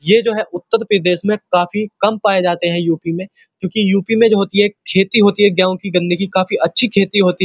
ये जो है उत्तर प्रदेश में काफी कम पाए जाते हैं यूपी में क्यों की यूपी में जो होती है खेती होती है गेहूँ की गन्ने की काफी अच्छी खेती होती है।